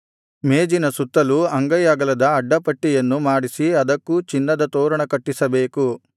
ಮೇಜಿನ ಸುತ್ತಲೂ ಅಂಗೈ ಅಗಲದ ಅಡ್ಡ ಪಟ್ಟಿಯನ್ನು ಮಾಡಿಸಿ ಅದಕ್ಕೂ ಚಿನ್ನದ ತೋರಣ ಕಟ್ಟಿಸಬೇಕು